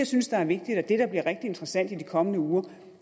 synes er vigtigt og det der bliver rigtig interessant i de kommende uger